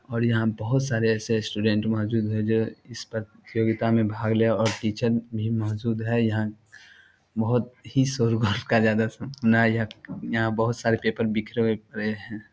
और यहां बहुत सारे ऐसे स्टूडेंट मौजूद है जो इस प्रतियोगिता में भाग ले और टीचर भी मौजूद है यहां बहुत ही शोर यहां बहुत सारे पेपर बिखरे हुए पड़े हैं।